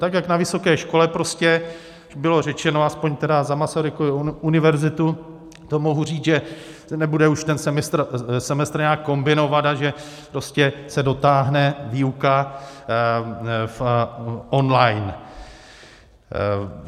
Tak jak na vysoké škole prostě bylo řečeno, aspoň tedy za Masarykovu univerzitu, to mohu říct, že nebude už ten semestr nějak kombinovat a že prostě se dotáhne výuka on-line.